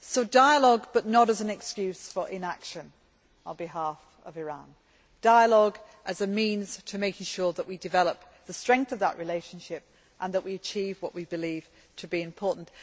so, dialogue, but not as an excuse for inaction on behalf of Iran, but rather as a means of making sure that we develop the strength of that relationship and that we achieve what we believe to be important.